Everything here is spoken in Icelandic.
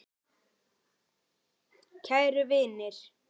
Kæru vinir!